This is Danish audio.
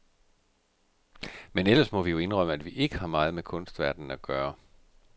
Men ellers må vi jo indrømme, at vi ikke har meget med kunstverdenen at gøre.